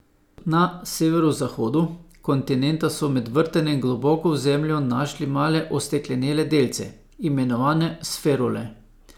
Na severozahodu kontinenta so med vrtanjem globoko v zemljo našli male osteklenele delce, imenovane sferule.